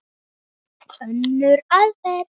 Önnur aðferð